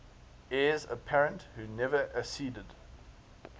heirs apparent who never acceded